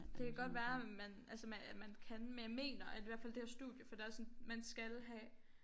Det kan godt være man altså man at man kan men jeg mener at hvert fald det her studie for der sådan man skal have